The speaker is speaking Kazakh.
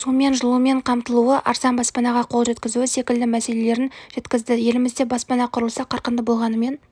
сумен жылумен қамтылуы арзан баспанаға қол жеткізуі секілді мәселелерін жеткізді елімізде баспана құрылысы қарқынды болғанымен